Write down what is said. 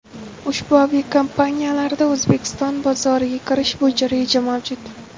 Ushbu aviakompaniyalarda O‘zbekiston bozoriga kirish bo‘yicha reja mavjud.